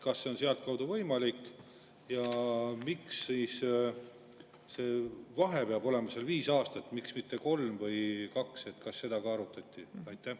Kas see on sealtkaudu võimalik ja miks see vahe peab olema viis aastat, miks mitte kolm või kaks, kas seda ka arutati?